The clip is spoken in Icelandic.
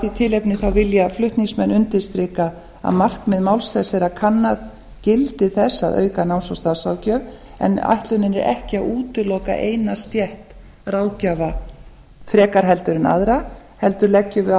því tilefni vilja flutningsmenn undirstrika að markmið máls þess er að kanna gildi þess að auka náms og starfsráðgjöf en ætlunin er ekki að útiloka eina stétt ráðgjafa frekar heldur en aðra heldur leggjum við